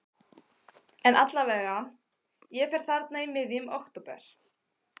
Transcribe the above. En allavega, ég fer þarna í miðjum október.